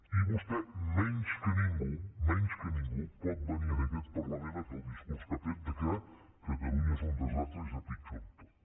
i vostè menys que ningú menys que ningú pot venir a aquest parlament a fer el discurs que ha fet que catalunya és un desastre i està pitjor en tot